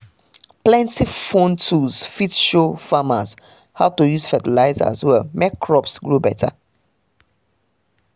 plenty phone tools fit show farmers how to use fertilizer well make crops grow better.